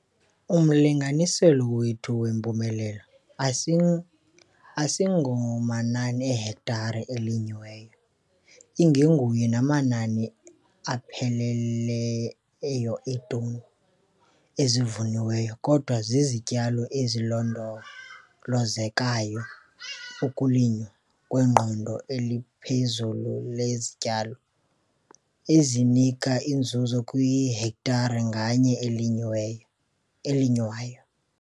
Umlinganiselo wethu wempumelelo asingomanani eehektare ezilinyiweyo, ingengawo namanani apheleleyo eetoni ezivuniweyo kodwa zizityalo ezilondolozekayo, ukulinywa kweqondo eliphezulu lezityalo ezinika inzuzo KWIHEKTARE NGANYE elinyiweyo elinywayo!